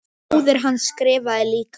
Móðir hans skrifar líka.